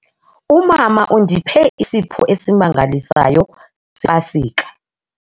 Umama undiphe isipho esimangalisayo sePasika.